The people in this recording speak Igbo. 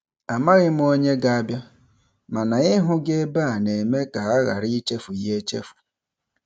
Amaghị m onye ga-abịa, mana ịhụ gị ebe a na-eme ka a ghara ịchefu ya echefu.